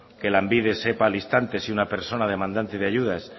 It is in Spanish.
que lanbide sepa al instante si una persona demandante de ayudas